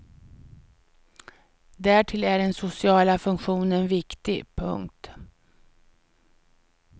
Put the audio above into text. Därtill är den sociala funktionen viktig. punkt